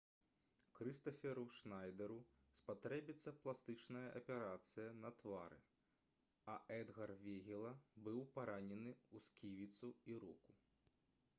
крыстаферу шнайдэру спатрэбіцца пластычная аперацыя на твары а эдгар вегіла быў паранены ў сківіцу і руку